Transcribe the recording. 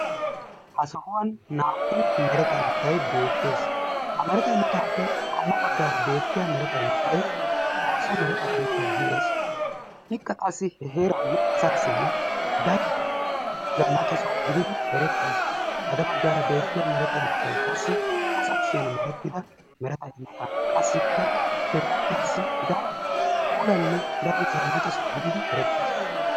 Ha sohuwan naa"u mereta imotayi beettes. Ha mereta imotaappe qommo baggaara beettiya mereta imotay XOOSSA mereta imota gides. Ikka qassi he heeraa asaassinne daro zannaqa soho gididi erettes. Xade baggaara beettiya mereta imotayi qassi asa kushiyan merttida mereta imota qassikka he sowaassi daro puulanne daro zannaqa soho gididi erettes.